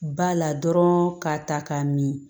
Ba la dɔrɔn k'a ta k'a min